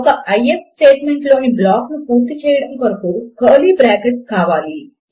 ఒక IF statement లోని block ను పూర్తి చేయడము కొరకు కర్లీ బ్రాకెట్లు కావాలి